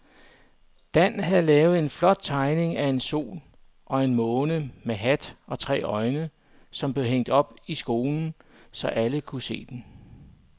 Dan havde lavet en flot tegning af en sol og en måne med hat og tre øjne, som blev hængt op i skolen, så alle kunne se den.